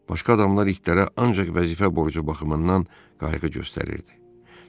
Başqa adamlar itlərə ancaq vəzifə borcu baxımından qayğı göstərirdi.